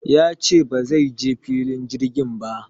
Ya ce ba zai je filin jirgin ba